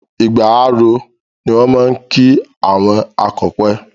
Igbà á ró, ni wọ́n máa ń kí àwọn akọpẹ̀.